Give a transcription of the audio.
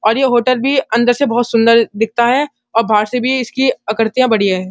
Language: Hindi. और यह होटल भी अंदर से बहुत सुन्दर दिखता है और बाहर से भी इसकी आकर्तियाँ बढ़िया है।